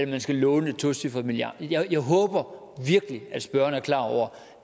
man skal låne et tocifret milliardbeløb jeg jeg håber virkelig at spørgeren er klar over